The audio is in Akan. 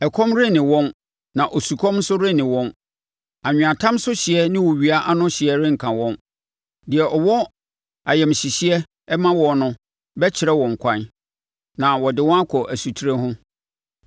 Ɛkɔm renne wɔn na osukɔm nso renne wɔn; anweatam so hyeɛ ne owia ano hyeɛ renka wɔn. Deɛ ɔwɔ ayamhyehyeɛ ma wɔn no bɛkyerɛ wɔn kwan na ɔde wɔn akɔ nsutire ho.